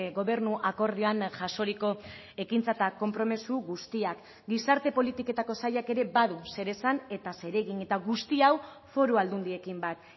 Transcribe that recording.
gobernu akordioan jasoriko ekintza eta konpromiso guztiak gizarte politiketako sailak ere badu zer esan eta zer egin eta guzti hau foru aldundiekin bat